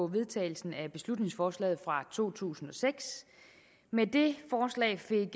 vedtagelsen af beslutningsforslaget fra to tusind og seks med det forslag fik